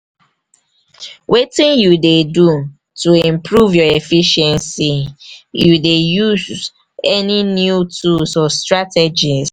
wetin you dey do to improve your efficiency you dey use any new tools or strategies?